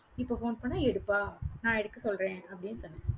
இப்ப phone பண்ணா எடுப்பா. நான் எடுக்க சொல்றேன், அப்படின்னு சொன்னேன்